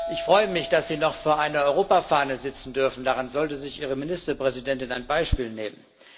Ich freue mich, dass Sie noch vor einer Europafahne sitzen dürfen. Daran sollte sich Ihre Ministerpräsidentin ein Beispiel nehmen!